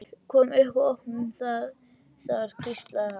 Komum upp og opnum það þar hvíslaði hann.